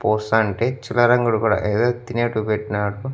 పోస్తంటే చిల్లర అంగడి కూడా ఏదో తినేటివి పెట్టినాడు.